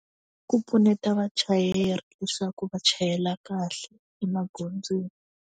Ku pfuneta vachayeri leswaku va chayela kahle emagondzweni.